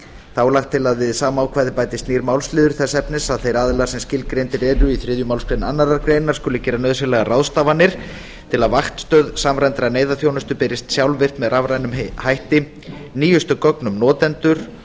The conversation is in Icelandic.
þá er lagt til að við sama ákvæði bætist nýr málsliður þess efnis að þeir aðilar sem skilgreindir eru í þriðju málsgrein annarrar greinar skuli gera nauðsynlegar ráðstafanir til að vaktstöð samræmdrar neyðarþjónustu berist sjálfvirkt með rafrænum hætti nýjustu gögn um notendur